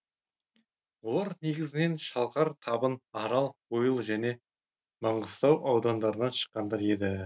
олар негізінен шалқар табын арал ойыл және маңғыстау аудандарынан шыққандар еді